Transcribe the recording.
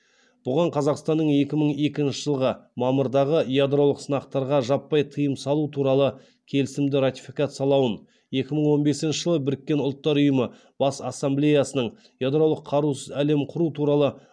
бұған қазақстанның екі мың екінші жылғы мамырдағы ядролық сынақтарға жаппай тыйым салу туралы келісімді ратификациялауын екі мың он бесінші жылы біріккен ұлттар ұйымы бас ассамблеясының ядролық қарусыз әлем құру туралы